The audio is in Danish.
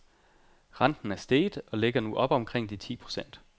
Renten er steget og ligger nu oppe omkring de ti procent.